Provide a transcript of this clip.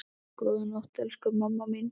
Góða nótt, elsku mamma mín.